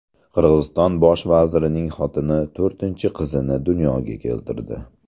Qirg‘iziston bosh vazirining xotini to‘rtinchi qizini dunyoga keltirdi.